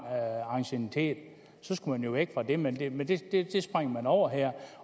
anciennitet så skulle man jo væk fra det men det men det springer man over her